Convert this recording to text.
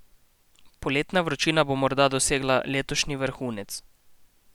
Poletna vročina bo morda dosegla letošnji vrhunec.